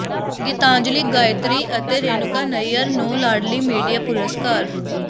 ਗੀਤਾਂਜਲੀ ਗਾਇਤਰੀ ਅਤੇ ਰੇਣੂਕਾ ਨਈਅਰ ਨੂੰ ਲਾਡਲੀ ਮੀਡੀਆ ਪੁਰਸਕਾਰ